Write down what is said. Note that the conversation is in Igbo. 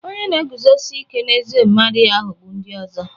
Onye na-eguzosi ike n'ezi omume adịghị aghọgbu ndị ọzọ.